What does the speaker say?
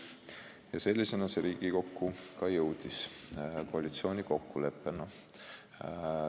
Ja sellisena see koalitsiooni kokkulepe Riigikokku ka jõudis.